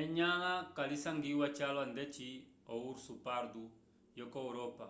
enyãla kalisangiwa calwa ndeci o urso pardo yoko europa